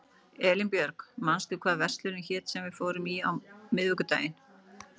Elínbjörg, manstu hvað verslunin hét sem við fórum í á miðvikudaginn?